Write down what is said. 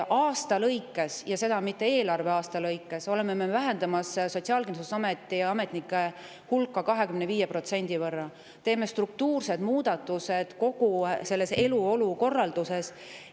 Aasta lõikes, ja seda mitte eelarveaasta lõikes, oleme vähendamas Sotsiaalkindlustusameti ja ametnike hulka 25% võrra, teeme struktuurseid muudatusi kogu selles eluolu korralduses.